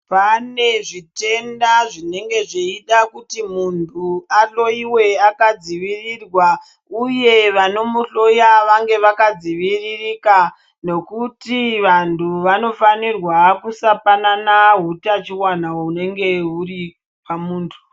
Pane zvitenda zvinenge kuti muntu ahloiwe akadzivirirwa, uye vanomuhloya vange vakadziviririka. Nokuti vantu vanofanirwa kusapanana utachivana hunenge huri pamuntu.